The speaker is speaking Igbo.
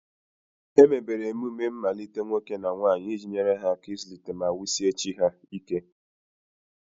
Emebere emume mmalite nwoke na nwanyị iji nyere ha aka ịzụlite na wusie chi ha ike.